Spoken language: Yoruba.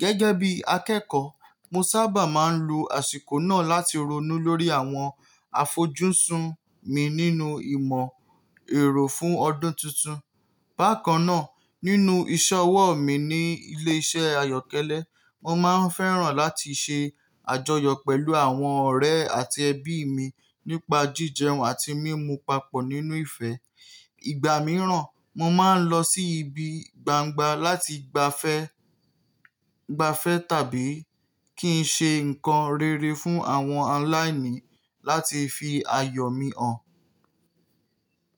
Gẹ́gẹ́ bí akẹ́kọ̀ọ́, mo sábà máa ń lo àsìkò náà láti ronú lórí àwọn àfojúsùn mi nínú ìmọ̀-ẹ̀rọ fún ọdún tuntun. Bákan náà, nínú ìṣọwọ́ mi ní ilé-iṣẹ́ ayọ́kẹ́lẹ́, mo máa ń fẹ́ràn láti ṣe àjọyọ̀ pẹ̀lú àwọn ọ̀rẹ́ àti ẹbí mi nípa jíjẹun àti mímu papọ̀ nínú ìfẹ́. Ìgbà mìíràn, mo máa ń lọ sí ibi gbangba láti gbafẹ́, gbafẹ́ tàbí kí n ṣe nǹkan rere fún àwọn aláìní láti fi ayọ̀ mi hàn.